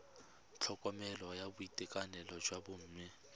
tlhokomelo ya boitekanelo jwa bomme